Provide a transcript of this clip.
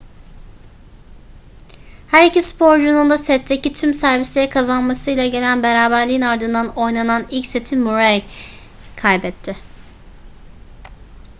her iki sporcunun da setteki tüm servisleri kazanmasıyla gelen beraberliğin ardından oynanan ilk seti murray kaybetti